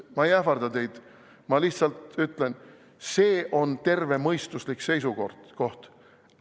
Ma ei ähvarda teid, ma lihtsalt ütlen: see on tervemõistuslik seisukoht.